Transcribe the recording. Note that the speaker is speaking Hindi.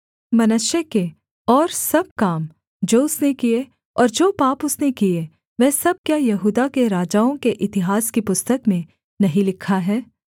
मनश्शे के और सब काम जो उसने किए और जो पाप उसने किए वह सब क्या यहूदा के राजाओं के इतिहास की पुस्तक में नहीं लिखा है